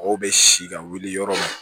Mɔgɔw bɛ si ka wuli yɔrɔ min na